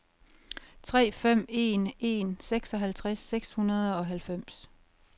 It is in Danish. tre fem en en seksoghalvtreds seks hundrede og halvfems